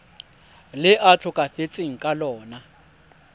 le a tlhokafetseng ka lona